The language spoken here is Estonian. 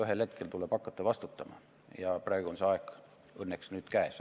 Ühel hetkel tuleb hakata vastutama ja praegu on see aeg õnneks käes.